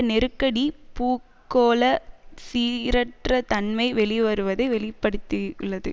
நெருக்கடி பூகோள சீரற்ற தன்மை வெளிவருவதை வெளி படுத்தியுள்ளது